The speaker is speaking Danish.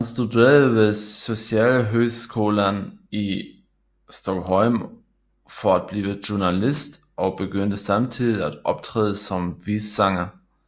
Han studerede ved Socialhögskolan i Stockholm for at blive journalist og begyndte samtidigt at optræde som visesanger